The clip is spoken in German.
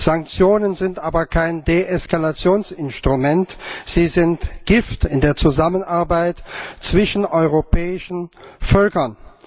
Sanktionen sind aber kein Deeskalationsinstrument, sie sind Gift in der Zusammenarbeit zwischen europäischen Völkern.